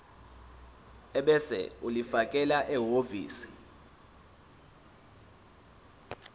ebese ulifakela ehhovisi